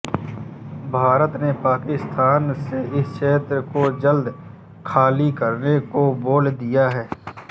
भारत ने पाकिस्तान से इस क्षेत्र को जल्द खाली करने को बोल दिया है